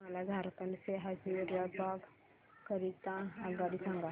मला झारखंड से हजारीबाग करीता आगगाडी सांगा